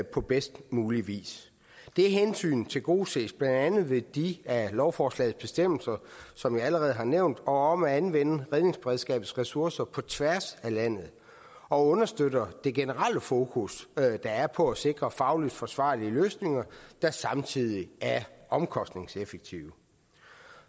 på bedst mulig vis det hensyn tilgodeses blandt andet ved de af lovforslagets bestemmelser som jeg allerede har nævnt om at anvende redningsberedskabets ressourcer på tværs af landet og understøtte det generelle fokus der er på at sikre fagligt forsvarlige løsninger der samtidig er omkostningseffektive